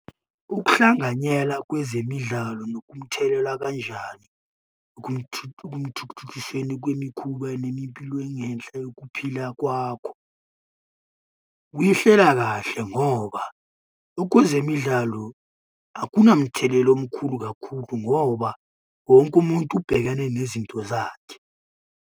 Ukuhlanganyela kwezemidlalo nokumthelela kanjani ukumthuthukiseni kwemikhuba nemipilo engenhla yokuphila kwakho? Uyihlela kahle ngoba kwezemidlalo akunamthelela omkhulu kakhulu, ngoba wonke umuntu ubhekane nezinto zakhe.